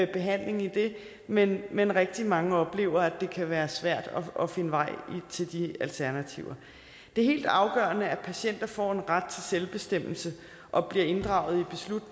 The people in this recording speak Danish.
behandling i det men men rigtig mange oplever at det kan være svært at finde vej til de alternativer det er helt afgørende at patienter får en ret til selvbestemmelse og bliver inddraget